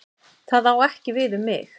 Það á ekki við um mig.